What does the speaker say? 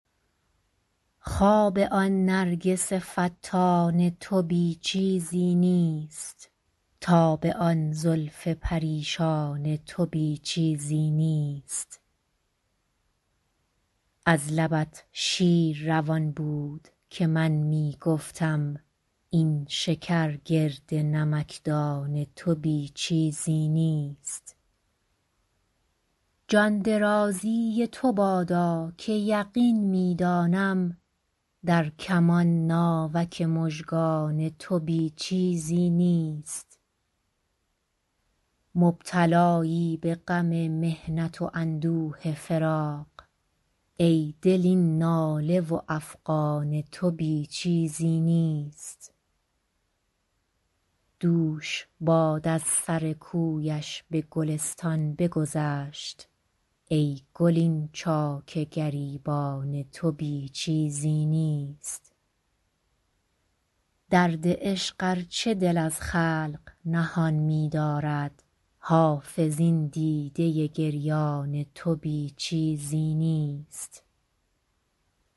خواب آن نرگس فتان تو بی چیزی نیست تاب آن زلف پریشان تو بی چیزی نیست از لبت شیر روان بود که من می گفتم این شکر گرد نمکدان تو بی چیزی نیست جان درازی تو بادا که یقین می دانم در کمان ناوک مژگان تو بی چیزی نیست مبتلایی به غم محنت و اندوه فراق ای دل این ناله و افغان تو بی چیزی نیست دوش باد از سر کویش به گلستان بگذشت ای گل این چاک گریبان تو بی چیزی نیست درد عشق ار چه دل از خلق نهان می دارد حافظ این دیده گریان تو بی چیزی نیست